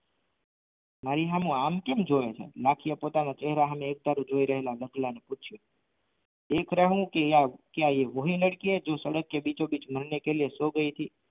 મારી સામે આમ કેમ જુએ છે લાખી પોતાના ચહેરા સામે એકધારું જોઈ રહેલા રતલા ને પૂછીયું ક્યા યે વો હી લડકી હૈ જો સડક કે બિચોબીચ મારને કે લીએ સો ગઈ થી